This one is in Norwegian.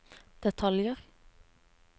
detaljer